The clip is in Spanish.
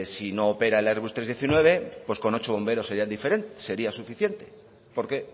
si no opera el airbus trescientos diecinueve pues con ocho bomberos sería suficiente porque